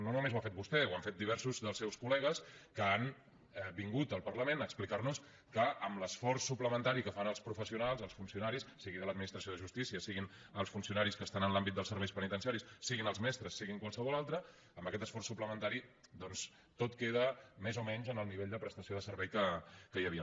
no només ho ha fet vostè ho han fet diversos dels seus col·legues que han vingut al parlament a explicar nos que amb l’esforç suplementari que fan els professionals els funcionaris sigui de l’administració de justícia siguin els funcionaris que estan en l’àmbit dels serveis penitenciaris siguin els mestres sigui qualsevol altre amb aquest esforç suplementari doncs tot queda més o menys en el nivell de prestació de servei que hi havia